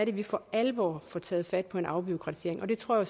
vi for alvor får taget fat på en afbureaukratisering jeg tror